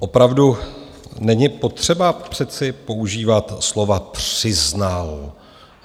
Opravdu není potřeba přece používat slova "přiznal".